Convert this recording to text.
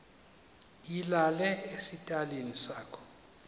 ilale esitalini sakho